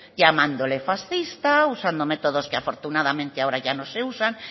llamándole fascista usando métodos que afortunadamente ahora ya no se usan